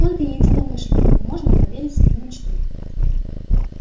только единомышленнику можно поверь и в свою мечту